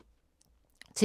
TV 2